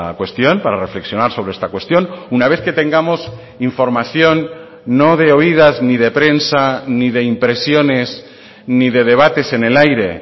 cuestión para reflexionar sobre esta cuestión una vez que tengamos información no de oídas ni de prensa ni de impresiones ni de debates en el aire